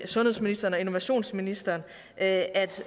sundhedsministeren og innovationsministeren at